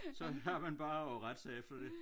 Så har man bare at rette sig efter det